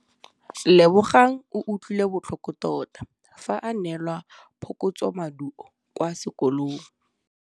Lebogang o utlwile botlhoko tota fa a neelwa phokotsômaduô kwa sekolong.